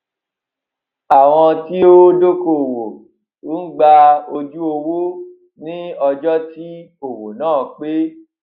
àwọn tí ó ó dókòwò ń gba ojú owó ní ọjó tí òwò náà pé